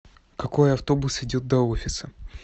какой автобус идет до офиса